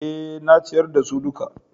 Eh, na ciyar da su duka